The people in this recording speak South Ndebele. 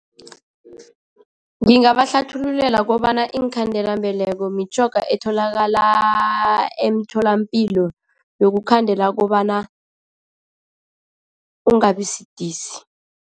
Ngingabahlathululela kobana iinkhandelambeleko mitjhoga etholakala emtholampilo yokukhandela kobana ungabisidisi.